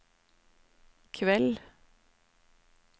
kveld